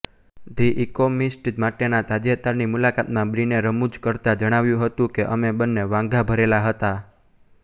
the Economist માટેના તાજેતરની મુલાકાતમાં બ્રિને રમૂજ કરતા જણાવ્યું હતું કે અમે બંને વાંધાભરેલા હતા